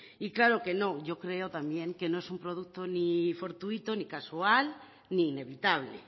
y claro que no yo creo también que no es un producto ni fortuito ni casual ni inevitable